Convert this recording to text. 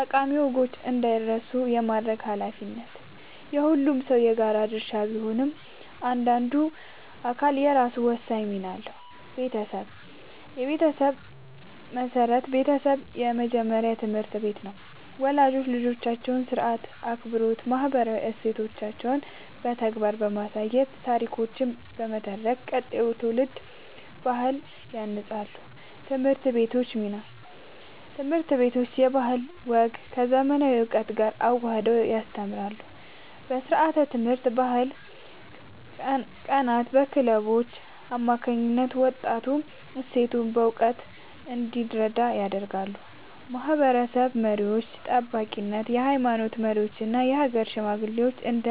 ጠቃሚ ወጎች እንዳይረሱ የማድረግ ኃላፊነት የሁሉም ሰው የጋራ ድርሻ ቢሆንም፣ እያንዳንዱ አካል የራሱ ወሳኝ ሚና አለው፦ የቤተሰብ ሚና (መሠረት)፦ ቤተሰብ የመጀመሪያው ትምህርት ቤት ነው። ወላጆች ልጆቻቸውን ሥርዓት፣ አክብሮትና ማህበራዊ እሴቶችን በተግባር በማሳየትና ታሪኮችን በመተረክ ቀጣዩን ትውልድ በባህል ያንጻሉ። የትምህርት ቤቶች ሚና (ማዳበር)፦ ትምህርት ቤቶች ባህልና ወግን ከዘመናዊ እውቀት ጋር አዋህደው ያስተምራሉ። በስርዓተ-ትምህርት፣ በባህል ቀናትና በክለቦች አማካኝነት ወጣቱ እሴቶቹን በእውቀት እንዲረዳ ያደርጋሉ። የማህበረሰብ መሪዎች (ጠባቂነት)፦ የሃይማኖት መሪዎችና የሀገር ሽማግሌዎች እንደ